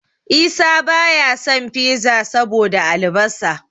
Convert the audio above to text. Isa baya son Fiza saboda albasa.